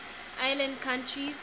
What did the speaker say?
island countries